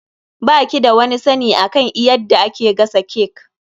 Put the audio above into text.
Ba ki da wani sani akan eyadda ake gasa cake.